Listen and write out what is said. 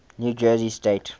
new jersey state